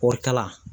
Kɔɔri kala